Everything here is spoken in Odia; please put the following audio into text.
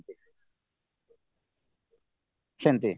ସେମିତି